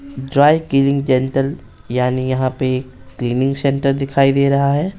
Dry cleaning gentle यानी यहां पे क्लीनिंग सेंटर दिखाई दे रहा है।